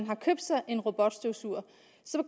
har købt sig en robotstøvsuger